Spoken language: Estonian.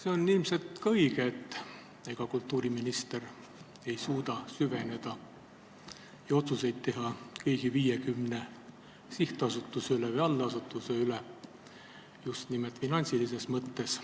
See on ilmselt õige, et kultuuriminister ei suuda süveneda kõigi 50 sihtasutuse või allasutuse tegevusse ja teha otsuseid just nimelt finantsilises mõttes.